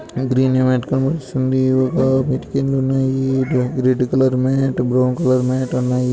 Green mat కనిపిస్తుంది ఒక mat కింద ఉన్నాయి red colour brown colour mat ఉన్నాయి.